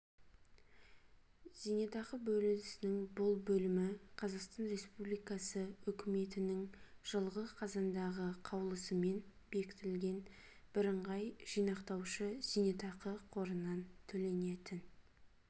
зейнетақы бөлінісінің бұл бөлімі қазақстан республикасы үкіметінің жылғы қазандағы қаулысымен бекітілген бірыңғай жинақтаушы зейнетақы қорынан төленетін